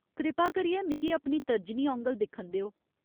कृपा करियै मिगी अपनी तर्जनी औंगल दिक्खन देओ।